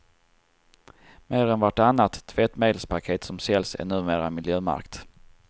Mer än vartannat tvättmedelspaket som säljs är numera miljömärkt.